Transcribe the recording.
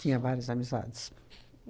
Tinha várias amizades.